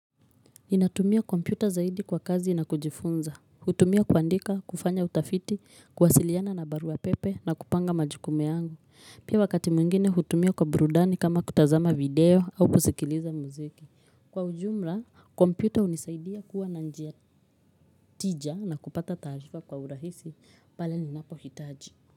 Ninatumia kompyuta zaidi kwa kazi na kujifunza, hutumia kuandika, kufanya utafiti, kuwasiliana na barua pepe na kupanga majukumu yangu, pia wakati mwingine hutumia kwa burudani kama kutazama video au kusikiliza muziki. Kwa ujumla, kompyuta hunisaidia kuwa na njia tija na kupata taarifa kwa urahisi pale ninapohitaji.